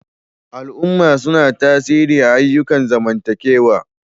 Al'umma suna tasiri ayyukan zamantakewa.